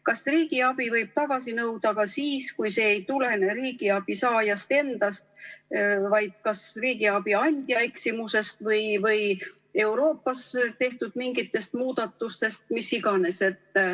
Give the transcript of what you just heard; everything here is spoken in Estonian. Kas riigiabi võib tagasi nõuda ka siis, kui see ei tulene riigiabi saaja enda eksimusest, vaid kas riigiabi andja eksimusest või mingitest Euroopas tehtud muudatustest?